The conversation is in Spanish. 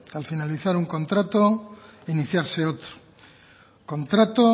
al finalizar un contrato e iniciarse otro contrato